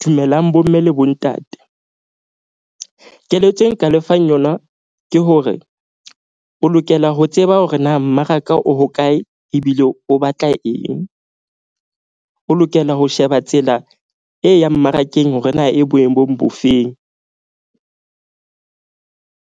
Dumelang bomme le bontate. Keletso e nka lefang yona ke hore o lokela ho tseba hore na mmaraka o hokae ebile o batla eng. O lokela ho sheba tsela e yang mmarakeng hore na e boemong bo feng.